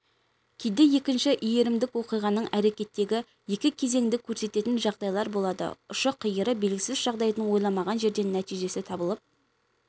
кейде екінші иірімдік оқиғаның әрекеттегі екі кезеңді көрсететін жағдайлар болады ұшы-қиыры белгісіз жағдайдың ойламаған жерден нәтижесі табылып